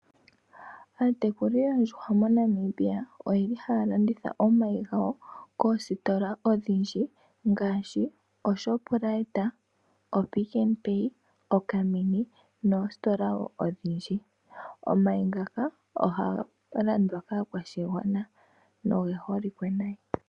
Aatekuli yoondjuhwa moNamibia ohaya landitha omayi gawo koostola odhindji ngaashi ko Shoprite, Picknpay, Mini nadhilwe odhindji. Omayi ohaga landwa kaakwashigwana nogeholike nayi.